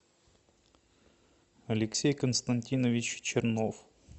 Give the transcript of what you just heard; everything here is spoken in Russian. алексей константинович чернов